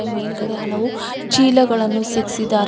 ಮೇಲ್ಗಡೆ ಹಲವು ಚೀಲಗಳನ್ನು ಸಿಗಿಸಿದ್ದಾರೆ.